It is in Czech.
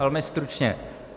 Velmi stručně.